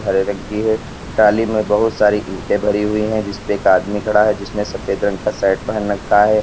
हरे रंग की है टाली में बहुत सारी ईंटें भरी हुई है जिस पर एक आदमी खड़ा है जिसने सफेद रंग का सैट पहन रखा है।